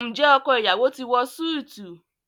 Njé ọkọ iyawo ti wọ Súìti?